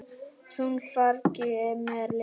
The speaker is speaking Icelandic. Þungu fargi af mér létt.